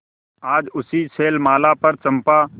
आज उसी शैलमाला पर चंपा